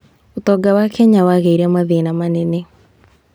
ũtonga wa Kenya wagĩire mathĩna manene.